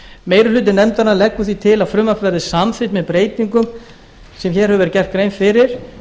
meiri hluti nefndarinnar leggur því til að frumvarpið verði samþykkt með breytingum sem gerð er grein fyrir